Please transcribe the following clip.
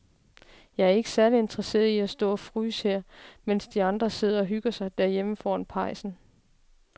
Jeg er ikke særlig interesseret i at stå og fryse her, mens de andre sidder og hygger sig derhjemme foran pejsen.